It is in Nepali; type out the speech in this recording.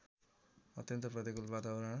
अत्यन्त प्रतिकूल वातावरण